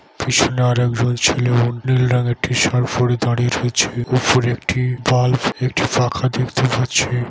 পিছনে আর এক দল ছেলেও নীল রঙের টিশার্ট পড়ে দাঁড়িয়ে রয়েছে। উপর একটি বাল্ব একটি পাখা দেখতে পাচ্ছি--